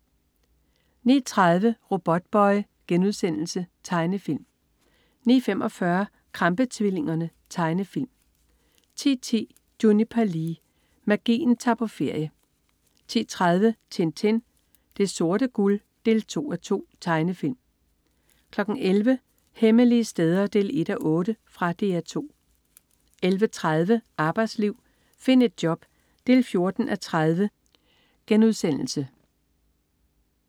09.30 Robotboy.* Tegnefilm 09.45 Krampe-tvillingerne. Tegnefilm 10.10 Juniper Lee. Magien tager på ferie 10.30 Tintin. Det sorte guld 2:2. Tegnefilm 11.00 Hemmelige steder 1:8. Fra DR 2 11.30 Arbejdsliv. Find et job 14:30*